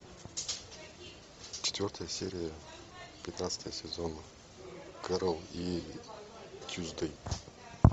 четвертая серия пятнадцатого сезона кэрол и тьюсдей